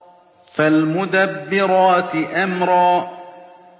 فَالْمُدَبِّرَاتِ أَمْرًا